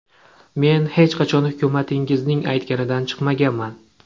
Men hech qachon hukumatimizning aytganidan chiqmaganman.